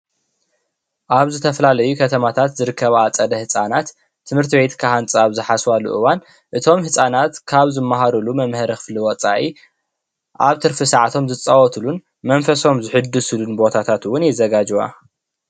ኣብ ዝተፈላለዩ ከተማታት ዝርከባ ኣፀደ ህፃናት ትምርትቤት ክሃንፃ ኣብ ዝሓስባሉ እወን እቶም ህፃናት ካብ ዝመሃርሉ መምሀሪ ክፍሊ ወፃኢ ኣብ ትርፊ ሰዓቶም ዝፃወትሉን መንፈሶም ዝሕድስሉን ቦታት እውን የዘጋጅዋ ።